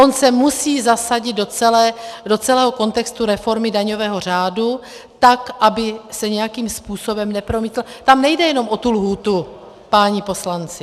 On se musí zasadit do celého kontextu reformy daňového řádu tak, aby se nějakým způsobem nepromítl - tam nejde jenom o tu lhůtu, páni poslanci.